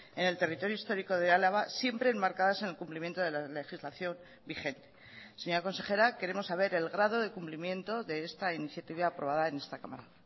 en el territorio histórico de álava siempre enmarcadas en el cumplimiento de la legislación vigente señora consejera queremos saber el grado de cumplimiento de esta iniciativa aprobada en esta cámara